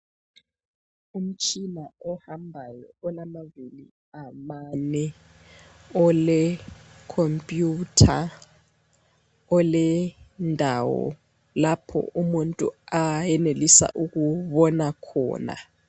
Umtshina ohambayo olamavili amane, olekhompiyutha, olendawo lapho umuntu ayenelisa ukubona khona.